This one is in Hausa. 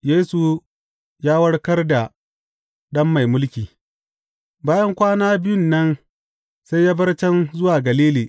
Yesu ya warkar da ɗan mai mulki Bayan kwana biyun nan sai ya bar can zuwa Galili.